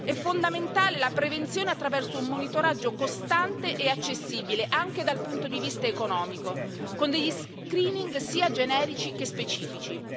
È fondamentale la prevenzione attraverso un monitoraggio costante e accessibile, anche dal punto di vista economico, con degli screening sia generici che specifici.